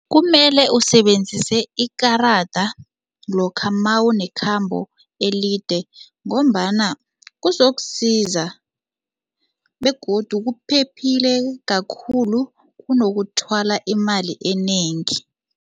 Kumele usebenzise ikarada lokha mawunekhambo elide ngombana kuzokusiza begodu kuphephile kakhulu kunokuthwala imali enengi.